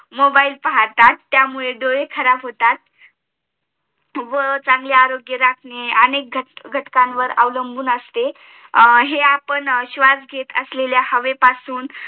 Mobile पाहतात व त्यामुळे डोळे खराब होतात व चांगले आरोग्य राखणे अनेक घटकां वर अवलंबून असते हे आपण स्वाश घेत असलेली हवे पासून